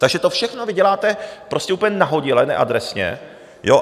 Takže to všechno vy děláte prostě úplně nahodile, neadresně.